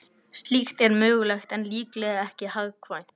Slíkt er mögulegt en líklega ekki hagkvæmt.